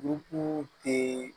Duku tɛ